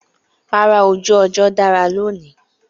Rárá, ojú ọjọ́ dára lónìí